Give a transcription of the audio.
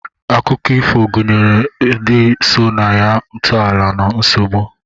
Akụkọ ifo gụnyere ndi so na ya, ntọala na nsogbu.